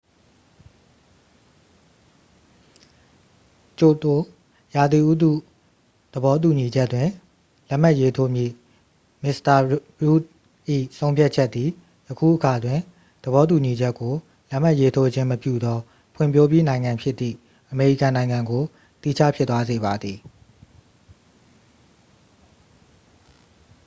ကျိုတို ရာသီဥတုသဘောတူညီချက်တွင် လက်မှတ်ရေးထိုးမည့်မစ္စတာရုတ်ဒ် ၏ဆုံးဖြတ်ချက်သည် ယခုအခါတွင် သဘောတူညီချက်ကို လက်မှတ်ရေးထိုးခြင်းမပြုသော ဖွံ့ဖြိုးပြီးနိုင်ငံဖြစ်သည့် အမေရိကန်နိုင်ငံကို သီးခြားဖြစ်သွားစေပါသည်